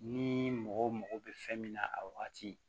Ni mɔgɔ mako bɛ fɛn min na a wagati